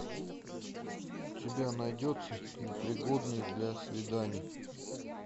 у тебя найдется непригодные для свиданий